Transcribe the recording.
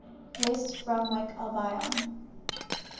west bromwich albion